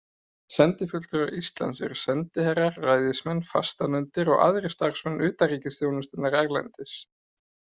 Sendifulltrúar Íslands eru sendiherrar, ræðismenn, fastanefndir og aðrir starfsmenn utanríkisþjónustunnar erlendis.